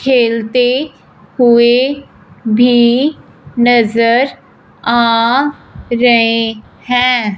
खेलते हुए भी नज़र आ रहे हैं।